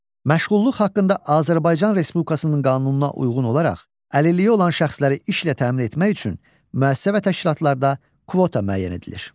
Məşğulluq haqqında Azərbaycan Respublikasının qanununa uyğun olaraq əlilliyi olan şəxsləri işlə təmin etmək üçün müəssisə və təşkilatlarda kvota müəyyən edilir.